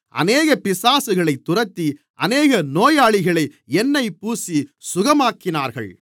அநேக பிசாசுகளைத் துரத்தி அநேக நோயாளிகளை எண்ணெய் பூசி சுகமாக்கினார்கள்